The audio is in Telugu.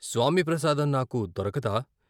స్వామి ప్రసాదం నాకు దొరకదా....